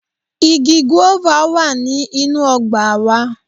Igi "guava" wá ní inú ọgbà a wa